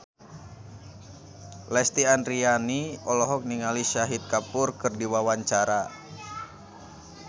Lesti Andryani olohok ningali Shahid Kapoor keur diwawancara